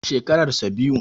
Shekarar sa biyu.